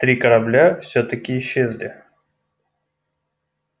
три корабля всё-таки исчезли